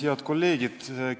Head kolleegid!